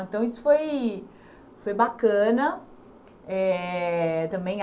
Então isso foi foi bacana eh também.